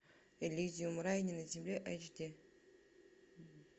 элизиум рай не на земле эйч ди